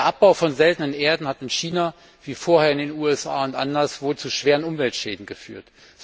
Der Abbau seltener Erden hat in China, wie vorher in den USA und anderswo, zu schweren Umweltschäden geführt.